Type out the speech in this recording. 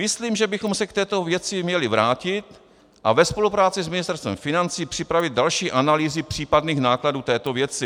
Myslím, že bychom se k této věci měli vrátit a ve spolupráci s Ministerstvem financí připravit další analýzy případných nákladů této věci.